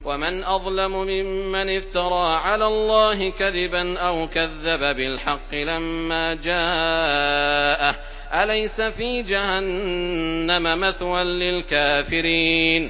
وَمَنْ أَظْلَمُ مِمَّنِ افْتَرَىٰ عَلَى اللَّهِ كَذِبًا أَوْ كَذَّبَ بِالْحَقِّ لَمَّا جَاءَهُ ۚ أَلَيْسَ فِي جَهَنَّمَ مَثْوًى لِّلْكَافِرِينَ